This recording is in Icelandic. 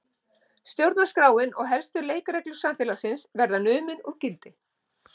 Stjórnarskráin og helstu leikreglur samfélagsins verða numin úr gildi